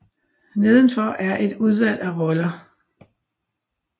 Nedenfor er et udvalg af roller